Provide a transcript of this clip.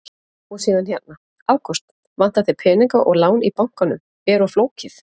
Og síðan hérna: Ágúst, vantar þig peninga og lán í bankanum er of flókið?